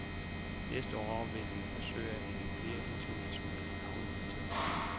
Næste år vil vi forsøge at hente flere internationale navne hertil.